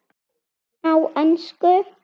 Á ensku